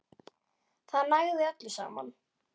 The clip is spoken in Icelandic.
Það ægði öllu saman.